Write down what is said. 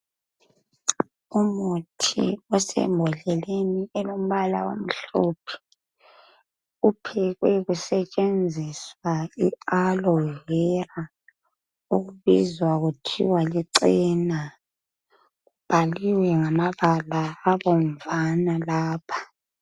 Umuthi osembodleleni elombala omhlophe uphekwe kusetshenziswa i-alovera okubizwa kuthiwa lichena. Kubhaliwe ngamabala abomvana lapha.